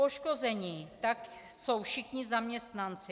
Poškození tak jsou všichni zaměstnanci.